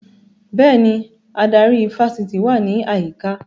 Bẹ́ẹ̀ni, adarí ifásitì wà ní àyíká